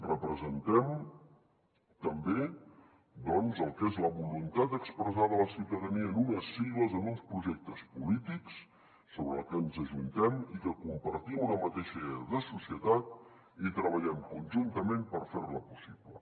representem també doncs el que és la voluntat expressada de la ciutadania en unes sigles en uns projectes polítics sobre els que ens ajuntem i que compartim una mateixa idea de societat i treballem conjuntament per fer la possible